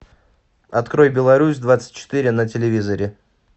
открой беларусь двадцать четыре на телевизоре